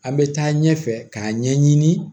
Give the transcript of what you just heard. An bɛ taa ɲɛfɛ k'a ɲɛɲini